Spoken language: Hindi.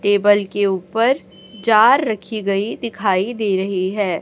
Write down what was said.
टेबल के ऊपर जार रखी गई दिखाई दे रही है।